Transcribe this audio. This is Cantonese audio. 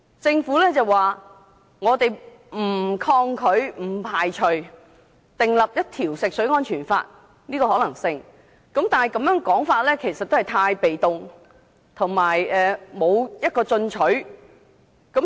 政府表示，不抗拒及不排除訂立一套食水安全法的可能性，但這個說法過於被動，不夠進取。